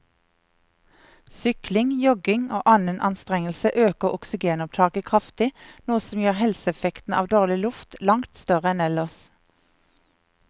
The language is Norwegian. Sykling, jogging og annen anstrengelse øker oksygenopptaket kraftig, noe som gjør helseeffekten av dårlig luft langt større enn ellers.